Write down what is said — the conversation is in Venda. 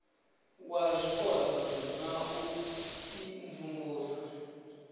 wa zwipotso na u imvumvusa